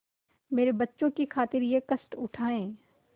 मेरे बच्चों की खातिर यह कष्ट उठायें